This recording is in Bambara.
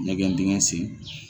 Ɲɛgɛn dingɛ sen